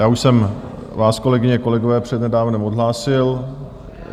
Já už jsem vás, kolegyně, kolegové, před nedávnem odhlásil.